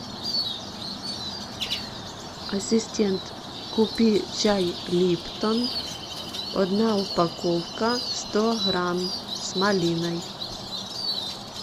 ассистент купи чай липтон одна упаковка сто грамм с малиной